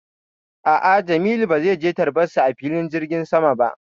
A'a, Jamilu ba zai je tarbar su a filin jirgin sama ba.